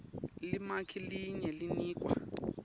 limaki linye linikwa